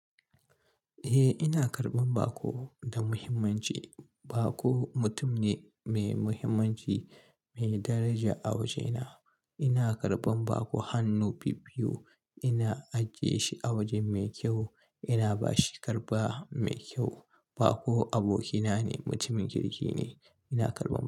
Eh, ina karɓan baƙo da muhimmanci. Baƙo mutum ne mai muhimmanci, mai daraja a wajena. Ina karɓan baƙo hannu biyu-biyu. Ina ajiye shi a waje mai kyau ina bashi karɓa mai kyau. Bako abokina ne, mutumin kirki ne. Ina karɓa.